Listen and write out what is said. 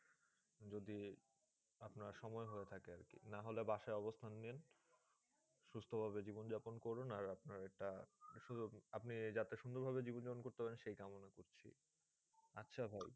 যদি আপনার সময় হয়ে থাকে আরকি? নাহলে বাসায় অবস্থান নিন। সুস্থ ভাবে জীবন জাপন করুন। আর আপনার একটা আপনি যাতে সুন্দর ভাবে জীবন জাপন করতে পারেন সেই কামনা করছি, আচ্ছা ভাই।